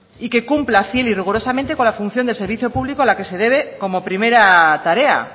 y que cumpla fiel y rigurosamente con la función del servicio público a la que se debe como primera tarea